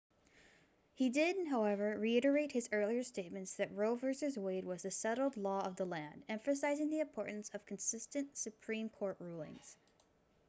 he did however reiterate his earlier statement that roe v wade was the settled law of the land emphasizing the importance of consistent supreme court rulings